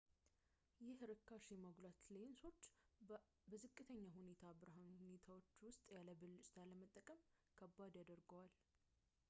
ይህ ርካሽ የማጉላት ሌንሶችን በዝቅተኛ ብርሃን ሁኔታዎች ውስጥ ያለ ብልጭታ ለመጠቀም ከባድ ያደርገዋል